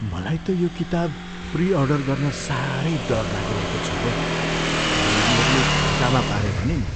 मलाई त यो किताब प्री अर्डर गर्न साह्रै डर लागिरहेको छ हौ। भरे यिनीहरूले धोकामा पारे भने नि?